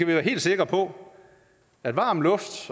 være helt sikre på at varm luft